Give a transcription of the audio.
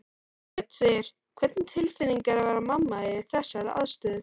Hödd: Hvernig tilfinning er að vera mamma í þessari aðstöðu?